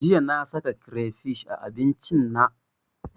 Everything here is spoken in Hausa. Jiya na sa kirefish a abincin na